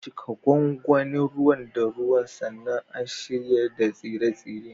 Cika gwangwanin ruwan da ruwa sannan a shayar da tsire-tsire.